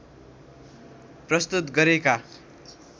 प्रस्तुत गरेका